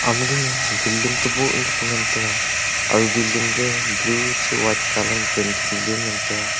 ama ga building ka boh tepa ngan taga aga building ga blue chu white colour ma paint kori le ngan taiga.